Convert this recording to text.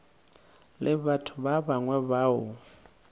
le batho ba bangwe bao